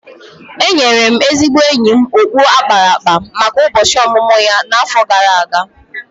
Enyere m ezigbo enyi m okpu a kpara akpa maka ụbọchị ọmụmụ ya n’afọ gara aga.